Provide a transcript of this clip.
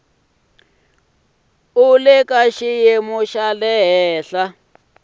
u le ka xiyimo xa